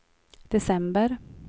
december